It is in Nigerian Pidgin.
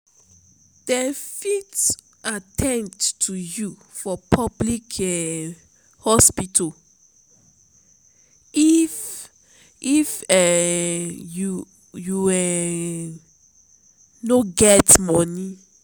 dem fit at ten d to you for public um hospital if if um you um no get moni.